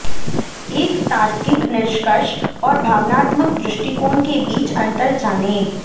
एक तार्किक निष्कर्ष और भावनात्मक दृष्टिकोण के बीच अंतर जानें